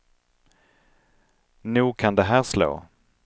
Nog kan det här slå.